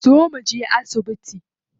Zo mu je asibiti.